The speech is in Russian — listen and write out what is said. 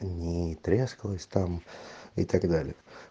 ни трескалась там и так далее